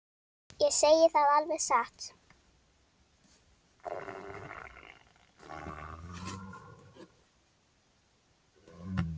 Ég segi það alveg satt.